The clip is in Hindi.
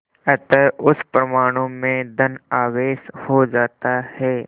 अतः उस परमाणु में धन आवेश हो जाता है